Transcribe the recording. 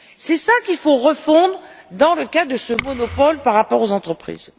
C'est cela qu'il faut refondre dans le cas de ce monopole par rapport aux entreprises.